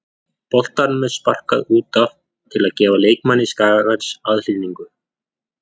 Boltanum er sparkað út af til að gefa leikmanni Skagans aðhlynningu.